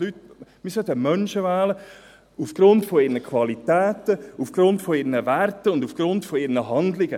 Wir sollten Menschen aufgrund ihrer Qualitäten wählen, aufgrund ihrer Werte und aufgrund ihrer Handlungen.